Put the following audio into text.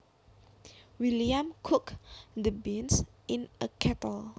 William cooked the beans in a kettle